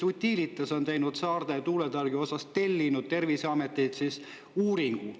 Utilitas on tellinud Saarde tuulepargi kohta Terviseametilt uuringu.